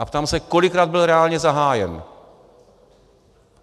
A ptám se, kolikrát byl reálně zahájen.